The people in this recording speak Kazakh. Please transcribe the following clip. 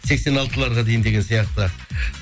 сексен алтыларға дейін деген сияқты